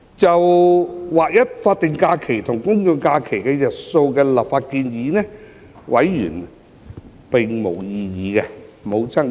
就劃一法定假日與公眾假期日數的立法建議，委員並無爭議。